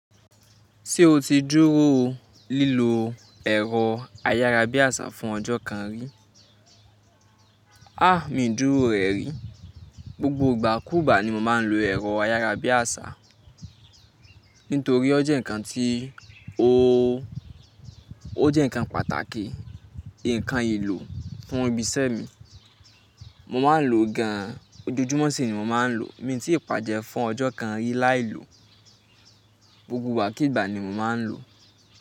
Ṣé o ti dúró lílo ẹ̀rọ ayárabíàṣá fún ọjọ́ kan rí? A! Mi ò dúró rẹ rí. Gbogbo ìgbà kú gbà ni mo máa ń lo ẹ̀rọ ayárabíàṣá, nítorí ó jẹ́ ǹkan tí ó pàtàkì, ǹkan ìlò fún ibi iṣẹ́ mi. Mo máa ń lo gan-an, ojoojúmọ́ sì ni mo máa ń lò ó. Mi ò tí ì pàjẹ́ fún ọjọ́ kan rí láì lò ó, gbogbo ìgbà kigbà ni mo máa ń lò ó.